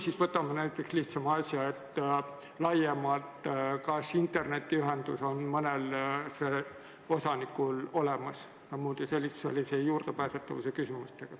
Või võtame lihtsama näite: mil määral ta peab arvestama seda, kas internetiühendus on kõigil osanikel olemas, ja muude juurdepääsetavuse küsimustega.